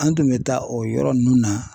An tun bɛ taa o yɔrɔ ninnu na